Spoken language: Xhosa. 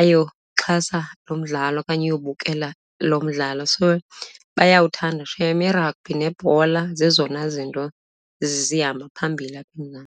ayokuxhasa lo mdlalo okanye ayobukela lo mdlalo, so bayawuthanda shem. Iragbhi nebhola zezona zinto zihamba phambili apha eMzantsi.